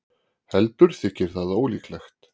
heldur þykir það ólíklegt